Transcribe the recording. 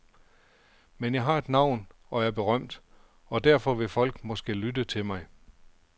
Men jeg har et navn og er berømt, og derfor vil folk måske lytte til mig.